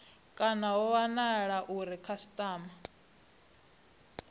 kana ho wanala uri khasitama